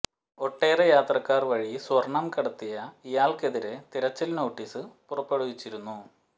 ഒട്ടേറെ യാത്രക്കാർ വഴി സ്വർണം കടത്തിയ ഇയാൾക്കെതിരെ തിരച്ചിൽ നോട്ടിസ് പുറപ്പെടുവിച്ചിരുന്നു